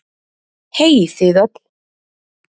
Hey þið öll